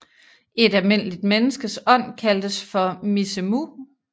Et almindeligt menneskes ånd kaldtes for mizemu